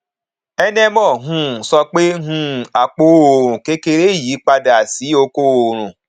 enemoh um sọ pé um apò oòrùn kékeré yí padà sí oko oòrùn